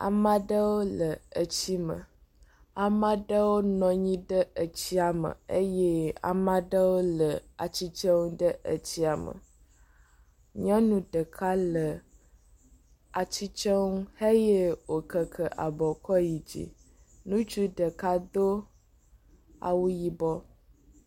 Ame aɖewo le tsi me. Ame aɖewo nɔ anyi ɖe etsi me eye ame aɖewo le atsitre ɖe etsia me. Nyɔnu ɖeka le atsitre nu eye wokeke abɔ kɔ yi dzi. Ŋutsu ɖeka edo awu yibɔ.